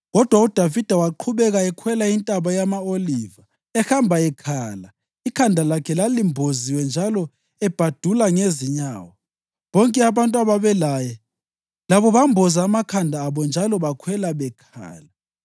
Kodwa uDavida waqhubeka ekhwela iNtaba yama-Oliva, ehamba ekhala; ikhanda lakhe lalimboziwe njalo ebhadula ngezinyawo. Bonke abantu ababelaye labo bamboza amakhanda abo njalo bakhwela bekhala.